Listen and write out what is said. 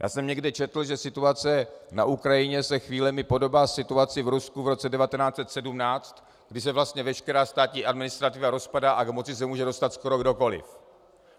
Já jsem někde četl, že situace na Ukrajině se chvílemi podobá situaci v Rusku v roce 1917, kdy se vlastně veškerá státní administrativa rozpadá a k moci se může dostat skoro kdokoliv.